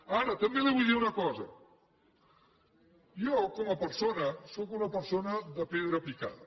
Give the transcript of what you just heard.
ara també li vull dir una cosa jo com a persona sóc una persona de pedra picada